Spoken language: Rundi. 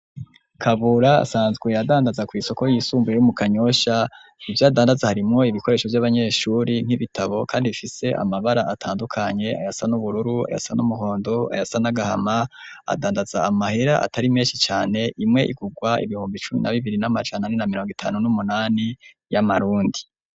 Kabura asanzwe adandaza kw'isoko yisumbuye yo mu Kanyosha, ivyo adandaza harimwo ibikoresho vy'abanyeshure nk'ibitabo kandi bifise amabara atandukanye, ayasa n'ubururu, ayasa n'umuhondo, ayasa n'agahama, adandaza amahera atari menshi cane, imwe igurwa ibihumbi cumi na bibiri n'amajana ane na mirongo itanu n'umunani y'amarundi.